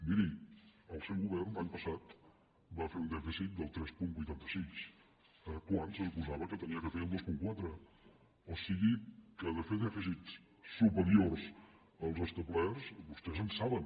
miri el seu govern l’any passat va fer un dèficit del tres coma vuitanta sis quan se suposava que havia de fer el dos coma quatre o sigui que de fer dèficits superiors als establerts vostès en saben